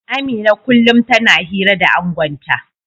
Amina kullum tana hira da angonta